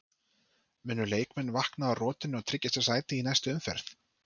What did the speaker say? Munu leikmenn vakna úr rotinu og tryggja sér sæti í næstu umferð?